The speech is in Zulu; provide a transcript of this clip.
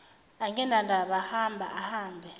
anginandaba hamba ahambe